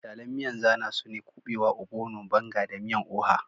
Misalan miyan zana su ne kubewa, obono, banga da miyan oha